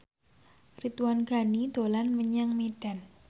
Ridwan Ghani dolan menyang Medan